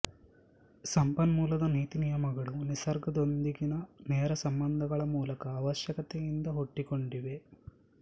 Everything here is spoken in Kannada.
ಸಂಪನ್ಮೂಲದ ನೀತಿನಿಯಮಗಳು ನಿಸರ್ಗದೊಂದಿಗಿನ ನೇರ ಸಂಬಂಧಗಳ ಮೂಲಕ ಅವಶ್ಯಕತೆಯಿಂದ ಹುಟ್ಟಿಕೊಂಡಿವೆ